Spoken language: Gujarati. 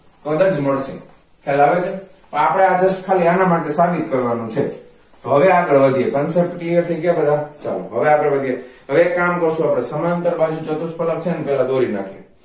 પદજ મળશે ખ્યાલ આવે છે પણ આપણા બસ ખાલી આના માટે સાબિત છે તો હવે આગળ વધીએ થઈ ગયા બધા ચાલો હવે આગળ વધીએ હવે એક કામ કરીએ આપણે સમાંતર બાજુ ચતુસ્ફળક છેને પેલા દોરી નાખીએ